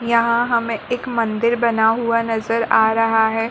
यहाँ हमे एक मंदिर बना हुआ नजर आ रहा है।